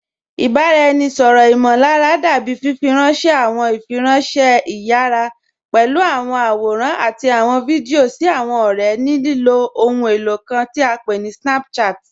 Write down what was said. Ìbaráẹ̀nisọ̀rọ imọ̀lárà dábì fífírànṣẹ̀ àwọn ìfírànṣẹ̀ ìyàrá pẹ̀lú àwọn àwòrán àti àwọn fídíò sí àwọn ọ̀rẹ̀ ní lilo òhùn elo kàn tí à pé ní Snapchat.